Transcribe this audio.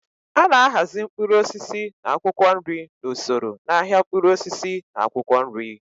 A na-ahazi mkpụrụ osisi na akwụkwọ nri n'usoro n'ahịa mkpụrụ osisi na akwụkwọ nri.